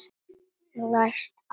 Læst amena.